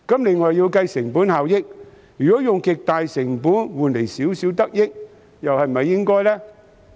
另外也要計算成本效益，如果要使用極高成本才可換來少許得益，又是否應該做呢？